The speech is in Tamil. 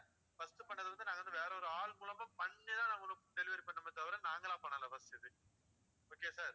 first பண்ணது வந்து நாங்க வந்து வேற ஆள் மூலியமா பண்ணி தான் உங்களுக்கு delivery பண்ணோமே தவிர நாங்களா பண்ணல first இது okay யா sir